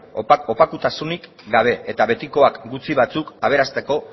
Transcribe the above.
opakutasunik gabe eta betikoak gutxi batzuk aberasteko